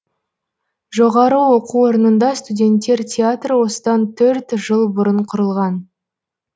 жоғары оқу орнында студенттер театры осыдан төрт жыл бұрын құрылған